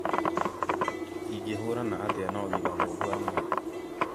Ingĩhũrana atĩa na ũgima mũru wa mwĩrĩ